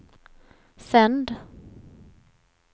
sänd